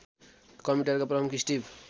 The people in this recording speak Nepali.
कम्प्युटरका प्रमुख स्टिभ